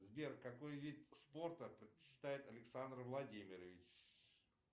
сбер какой вид спорта предпочитает александр владимирович